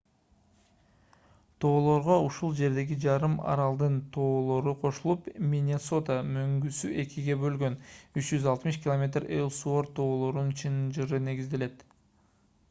тоолорго ушул жердеги жарым аралдын тоолору кошулуп миннесота мөңгүсү экиге бөлгөн 360 км эллсуорт тоолорунун чынжыры негизделет